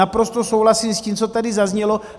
Naprosto souhlasím s tím, co tady zaznělo.